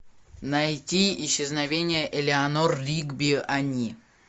найти исчезновение элеанор ригби они